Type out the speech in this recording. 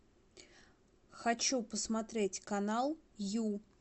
хочу посмотреть канал ю